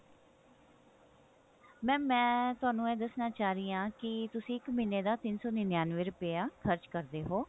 mam ਮੈਂ ਤੁਹਾਨੂੰ ਇਹ ਦੱਸਣਾ ਚਾਹ ਰਹੀ ਹਾਂ ਕਿ ਤੁਸੀਂ ਇੱਕ ਮਹੀਨੇ ਦਾ ਤਿੰਨ ਸੋ ਨਨਿਅਨਵੇਂ ਰੁਪਇਆ ਖਰਚ ਕਰਦੇ ਹੋ